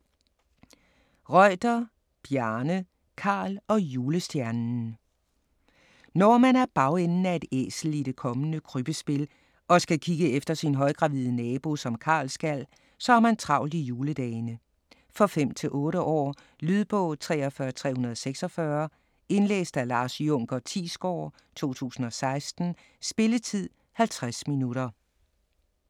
Reuter, Bjarne: Karl og julestjernen Når man er bagenden af et æsel i det kommende krybbespil og skal kigge efter sin højgravide nabo, som Karl skal, så har man travlt i juledagene. For 5-8 år. Lydbog 43346 Indlæst af Lars Junker Thiesgaard, 2016. Spilletid: 0 timer, 50 minutter.